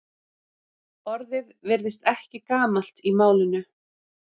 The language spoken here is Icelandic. Orðið virðist ekki gamalt í málinu.